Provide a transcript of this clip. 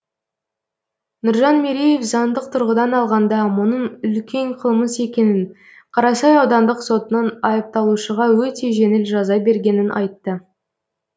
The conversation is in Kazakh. нұржан мереев заңдық тұрғыдан алғанда мұның үлкен қылмыс екенін қарасай аудандық сотының айыпталушыға өте жеңіл жаза бергенін айтты